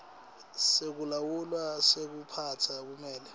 sekulawula sekuphatsa kumele